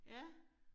Ja